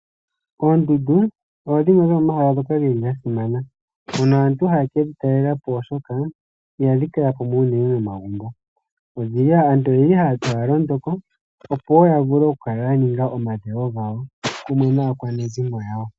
Oondundu odho dhimwe dhomomahala dhoka dhili dha simana, mono aantu haye kedhi talelapo, oshoka ihadhi kala pamwe unene nomagumbo, aantu oyeli haya londo ko, opo wo ya vule oku kala ya ninga omadhewo gawo pamwe naakwanezimo yawo.